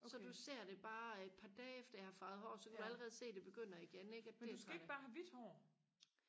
så du ser det bare et par dage efter jeg har farvet hår så kan du allerede se det begynder igen ikke og det er jeg træt af